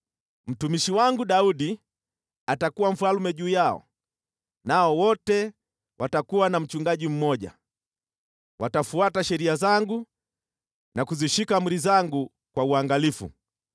“ ‘Mtumishi wangu Daudi atakuwa mfalme juu yao, nao wote watakuwa na mchungaji mmoja. Watafuata sheria zangu na kuzishika amri zangu kwa uangalifu.